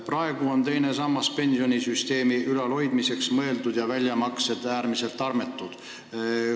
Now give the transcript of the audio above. Praegu on teine sammas mõeldud pensionisüsteemi ülalhoidmiseks, aga väljamaksed on äärmiselt armetud.